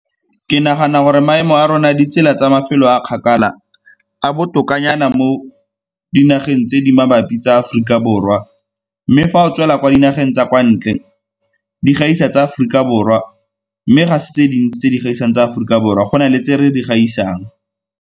Ke nagana gore maemo a rona ditsela tsa mafelo a a kgakala a botokanyana mo dinageng tse di mabapi tsa Aforika Borwa, mme fa o tswela kwa dinageng tsa kwa ntle di gaisa tsa Aforika Borwa, mme ga se tse dintsi tse di gaisang tsa Aforika Borwa go na le tse re di gaisang.